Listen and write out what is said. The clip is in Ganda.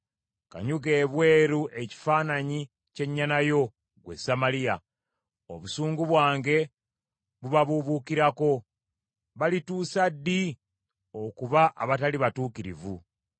Kanyuga ebweru ekifaananyi ky’ennyana yo, ggwe Samaliya. Obusungu bwange bubabuubuukirako. Balituusa ddi okuba abatali batuukirivu?